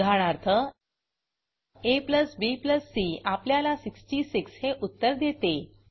उदाहरणार्थ abc आपल्याला 66 हे उत्तर देते